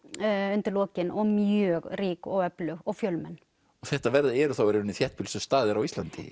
undir lokin og mjög rík og öflug og fjölmenn þetta eru þá í raun þéttbýlustu staðir á Íslandi